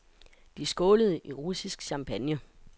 De skålede i russisk champagne.